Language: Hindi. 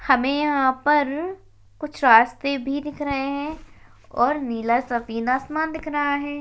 हमें यहाँ पर कुछ रास्ते भी दिख रहे है और नीला सफ़ेद आसमान दिख रहा है।